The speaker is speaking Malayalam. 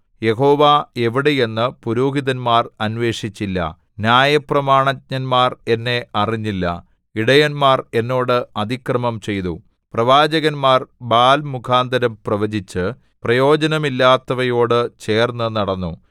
യഹോവ എവിടെ എന്ന് പുരോഹിതന്മാർ അന്വേഷിച്ചില്ല ന്യായപ്രമാണജ്ഞന്മാർ എന്നെ അറിഞ്ഞില്ല ഇടയന്മാർ എന്നോട് അതിക്രമം ചെയ്തു പ്രവാചകന്മാർ ബാല്‍ മുഖാന്തരം പ്രവചിച്ച് പ്രയോജനമില്ലാത്തവയോടു ചേർന്നുനടന്നു